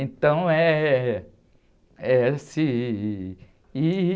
Então, eh, é esse, ih...